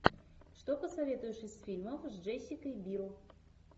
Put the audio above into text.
что посоветуешь из фильмов с джессикой бил